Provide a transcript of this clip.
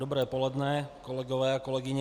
Dobré poledne, kolegové a kolegyně.